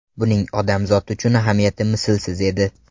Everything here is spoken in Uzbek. Buning odamzod uchun ahamiyati mislsiz edi.